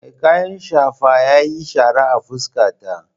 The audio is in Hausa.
Mai kayan shafa yayi shara a fuskata.